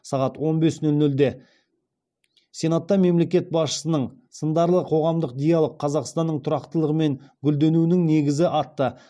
сағат он бес нөл нөлде сенатта мемлекет басшысының сындарлы қоғамдық диалог қазақстанның тұрақтылығы мен гүлденуінің негізі атты